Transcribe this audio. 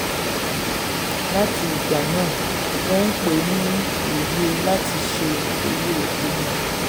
láti ìgbà náà wón pè é ní oye láti ṣé owó epo wọn.